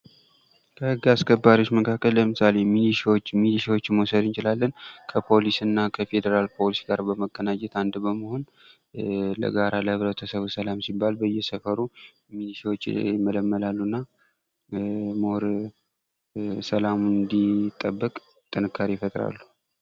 ከህግ አስከባሪዎች መካከል ለምሳሌ ሚኒሻዎችን መዉሰድ እንችላለን። ሚንሻዎች ከፖሊስና ከፌደራል ፖሊስ ጋር በመቀናጀት አንድ በመሆን ለጋራ ለህበረተሰቡ ሠላም ሲባል በየሰፈሩ ሚኒሻዎች ይመለመላሉ እና ይበልጥ ሰላም እንዲጠበቅ ጥንካሬ ይፈጥራሉ።